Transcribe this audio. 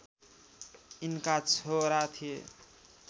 यिनका छोरा थिए